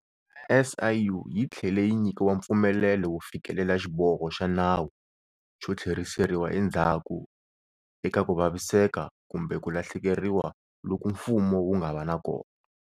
SIU yi tlhele yi nyikiwa mpfumelelo wo fikelela xiboho xa nawu xo tlheriseriwa endzhaku eka ku vaviseka kumbe ku lahlekeriwa loku mfumo wu nga va na kona.